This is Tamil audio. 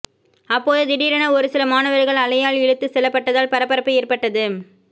அப்போது திடீரென ஒருசில மாணவர்கள் அலையால் இழுத்து செல்லப்பட்டதால் பரபரப்பு ஏற்பட்டது